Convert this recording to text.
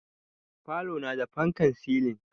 Falona na da fankan silin